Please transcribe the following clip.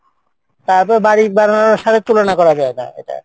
তারপর বাড়ির বানানোর স্বাদে তুলনা করা যায়না এটা।